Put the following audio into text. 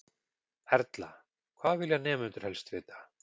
Erla: Hvað vilja nemendur helst vita?